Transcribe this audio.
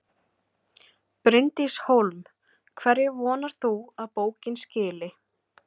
Bryndís Hólm: Hverju vonar þú að bókin skili?